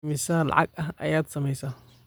Immisa lacag ah ayaad samaysay?